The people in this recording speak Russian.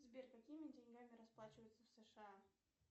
сбер какими деньгами расплачиваются в сша